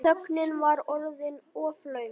Þögnin var orðin of löng.